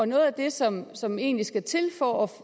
noget af det som som egentlig skal til for at